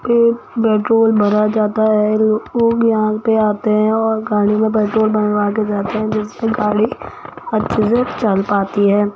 पे पेट्रोल भरा जाता है लोग यहां पे आते है और गाड़ी में पेट्रोल भरवा के जाते है जिससे गाड़ी अच्छे से चलपाती है।